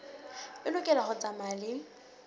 e lokela ho tsamaya le